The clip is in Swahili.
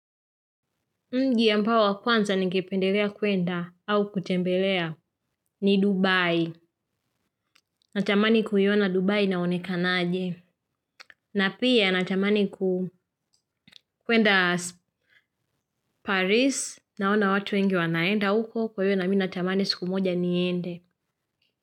Mji ambao wa kwanza ningependelea kuenda au kutembelea ni Dubai. Natamani kuiona Dubai inaonekanaje. Na pia natamani kuenda Paris naona watu wengi wanaenda huko kwa hiyo na mimi natamani siku moja niende.